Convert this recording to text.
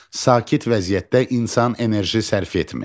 Sakit vəziyyətdə insan enerji sərf etmir.